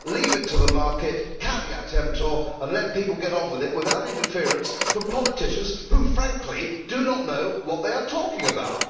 Leave it to the market, caveat emptor, and let people get on with it without interference from politicians who, frankly, do not know what they are talking about.